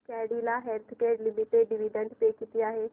Cadila Healthcare Limited dividend pay किती आहे